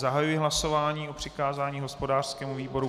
Zahajuji hlasování o přikázání hospodářskému výboru.